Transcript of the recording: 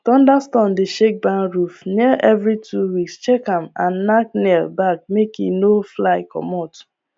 thunderstorm dey shake barn roof nailevery two weeks check am and nack nail back make e no fly comot